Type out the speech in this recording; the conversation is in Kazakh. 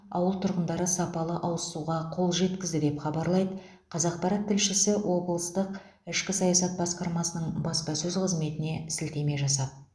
ауыл тұрғындары сапалы ауыз суға қол жеткізді деп хабарлайды қазақпарат тілшісі облыстық ішкі саясат басқармасының баспасөз қызметіне сілтеме жасап